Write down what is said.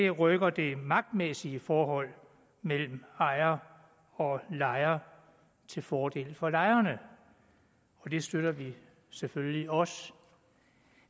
rykker det magtmæssige forhold mellem ejere og lejere til fordel for lejerne og det støtter vi selvfølgelig også